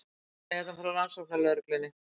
Hann er hérna frá rannsóknarlögreglunni.